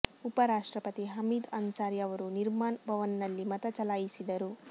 ಉಪ ರಾಷ್ಟ್ರಪತಿ ಹಮೀದ್ ಅನ್ಸಾರಿ ಅವರು ನಿರ್ಮಾನ್ ಭವನ್ ನಲ್ಲಿ ಮತ ಚಲಾಯಿಸಿದರು